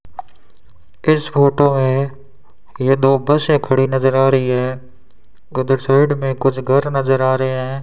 इस फोटो में ये दो बसें खड़ी नजर आ रही हैं उधर साइड में कुछ घर नजर आ रहे हैं।